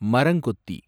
மரங்கொத்தி